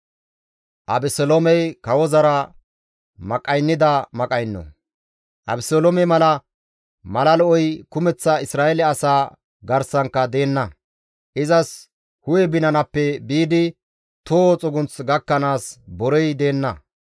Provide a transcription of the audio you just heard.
Abeseloome mala, mala lo7oy kumeththa Isra7eele asaa garsankka deenna; izas hu7e binanappe biidi toho xugunth gakkanaas borey deenna.